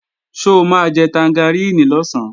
Ṣó máa jẹ tangaríìnì lọ̀sán?